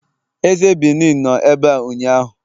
eze Benin nọ ebea ụnyahụ